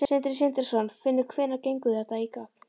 Sindri Sindrason: Finnur hvenær gengur þetta í gegn?